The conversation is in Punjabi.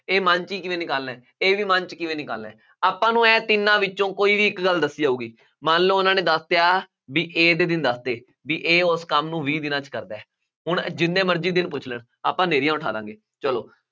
ਇਹ ਮਨ ਚ ਹੀ ਕਿਵੇਂ ਨਿਕਾਲਣਾ ਹੈ, ਇਹ ਵੀ ਮਨ ਚ ਕਿਵੇਂ ਨਿਕਾਲਣਾ ਹੈ। ਆਪਾਂ ਨੂੰ ਇਹ ਤਿੰਨਾਂ ਵਿੱਚੋਂ ਕੋਈ ਵੀ ਇੱਕ ਗੱਲ ਦੱਸੀ ਜਾਊਗੀ, ਮੰਨ ਲਉ ਉਹਨਾ ਨੇ ਦੱਸਿਆ ਬਈ A ਦੇ ਦਿਨ ਦੱਸ ਤੇ, ਬਈ A ਉਸ ਕੰਮ ਨੂੰ ਵੀਹ ਦਿਨਾਂ ਵਿੱਚ ਕਰਦਾ ਹੈ। ਹੁਣ ਜਿੰਨੇ ਮਰਜ਼ੀ ਦਿਨ ਪੁੱਛ ਲੈਣ, ਆਪਾਂ ਹਨੇਰੀਆਂ ਉਠਾ ਦਿਆਂਗੇ। ਚੱਲੋ